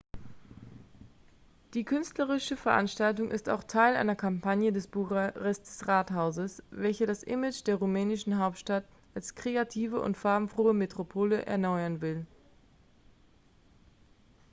die künstlerische veranstaltung ist auch teil einer kampagne des bukarester rathauses welches das image der rumänischen hauptstadt als kreative und farbenfrohe metropole erneuern will